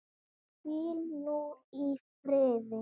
Hvíl nú í friði.